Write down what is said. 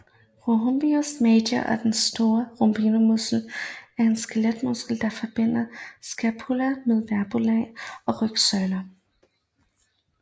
Rhomboideus major eller Den store rhombemuskel er en skeletmuskel der forbinder scapula med vertebrae på rygsøjlen